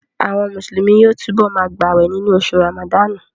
Àwọn Mùsùlùmí yóò túbọ̀ ma gbàwè nínú oṣù Ràmàdánù